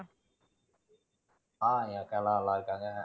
அஹ் என் அக்கா எல்லாம் நல்லாருக்காங்க.